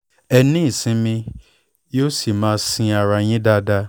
ẹ ní ìsinmi yóò sì máa sin ara yín dáadáa